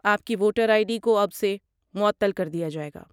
آپ کی voter I D کو اب سے معطل کر دیا جائے گا۔